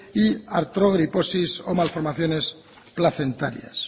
y artrogriposis o malformaciones placentarias